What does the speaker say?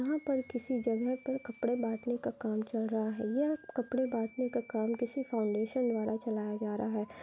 यहाँ पर किसी जगह पर कपड़े बाटने का काम चल रहा है। यह कपड़े बाटने का काम किसी फाउंडेशन द्वारा चलाया जा रहा है।